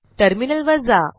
टर्मिनलवर जा